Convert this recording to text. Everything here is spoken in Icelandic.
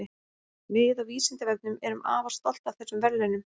Við á Vísindavefnum erum afar stolt af þessum verðlaunum.